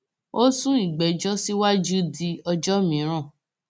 ó sún ìgbẹjọ síwájú di ọjọ miran